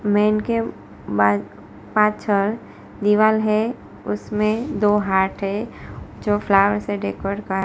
main के मा पाछर दीवाल है उसमें दो हाठ है जो फ्लावर से डेकोरट का--